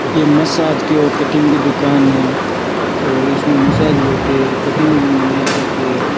ये मसाज की और कटिंग की दुकान है और इसमें मसाज भी होती है कटिंग भी बनाई जाती है।